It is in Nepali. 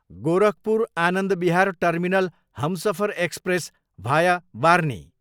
गोरखपुर, आनन्द विहार टर्मिनल हमसफर एक्सप्रेस, भाया बार्ह्नी